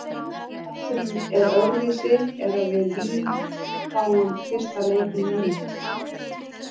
Það sem er öðruvísi er að víð fáum fyrsta leikinn heima.